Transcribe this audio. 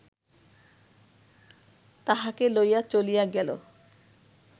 তাহাকে লইয়া চলিয়া গেল